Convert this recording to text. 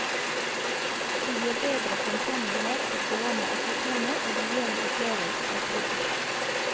De gir bedre fremkommelighet for gående og syklende, og de gir en opplevelse av trygghet.